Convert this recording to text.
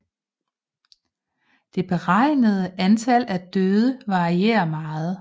Det beregnede antal af døde varierer meget